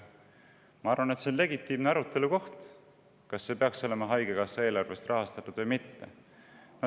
Ma arvan, et see on legitiimse arutelu koht, kas see peaks olema haigekassa eelarvest rahastatud või mitte.